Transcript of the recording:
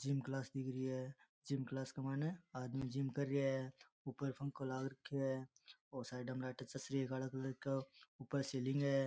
Gym class दिख री है जिम क्लास के मायने आदमी जिम कर रिया है ऊपर पंखो लाग राख्यो है और साइड में लाइटा चस रही है काला कलर को ऊपर सीलिंग है।